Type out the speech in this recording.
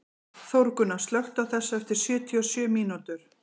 Þórgunna, slökktu á þessu eftir sjötíu og sjö mínútur.